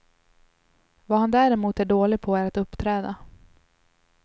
Vad han däremot är dålig på är att uppträda.